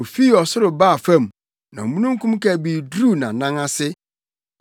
Ofii ɔsoro baa fam; na omununkum kabii duruu nʼanan ase.